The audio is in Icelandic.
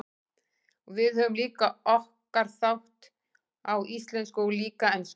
Og við höfum líka okkar þátt, á íslensku og líka ensku.